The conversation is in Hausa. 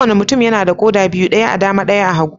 Kowane mutum yana da koda biyu, daya a dama, ɗayan a hagu.